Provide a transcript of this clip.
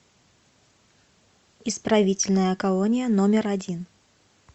исправительная колония номер один